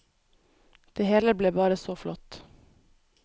Det hele ble bare så flott.